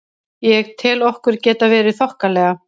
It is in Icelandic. Ég tel okkur geta verið þokkalega.